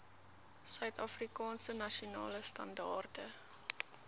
suidafrikaanse nasionale standaarde